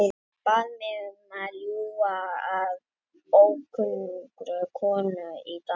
Hann bað mig um að ljúga að ókunnugri konu í Danmörku.